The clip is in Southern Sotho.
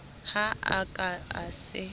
ha a ka a se